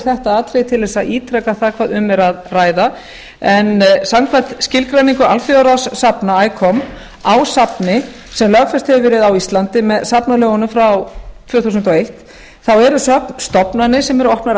þetta atriði til þess að ítreka hvað um er að ræða en samkvæmt skilgreiningu alþjóðasafna icom á safni sem lögfest hefur verið á íslandi með safnalögunum frá tvö þúsund og eitt þá eru söfn stofnanir sem eru opnar